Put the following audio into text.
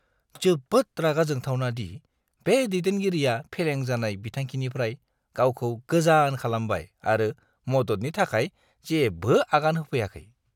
जोबोद रागा जोंथावना दि बे दैदेनगिरिया फेलें जानाय बिथांखिनिफ्राय गावखौ गोजान खालामबाय आरो मददनि थाखाय जेबो आगान होफैयाखै।